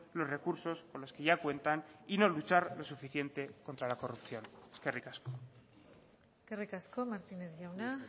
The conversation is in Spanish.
los recursos con los que ya cuentan y no luchar lo suficiente contra la corrupción eskerrik asko eskerrik asko martínez jauna